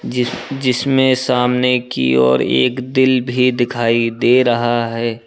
जिस जिसमें सामने की और एक दिल भी दिखाई दे रहा है।